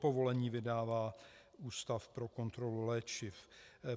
Povolení vydává Ústav pro kontrolu léčiv.